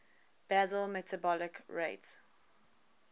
basal metabolic rate